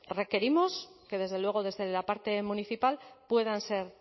requerimos que desde luego desde la parte municipal puedan ser